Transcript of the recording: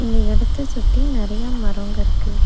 இந்த இடத்தை சுத்தி நெறைய மரங்க இருக்கு.